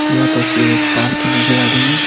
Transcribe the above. यह तस्वीर एक पार्क की नजर आ रही है।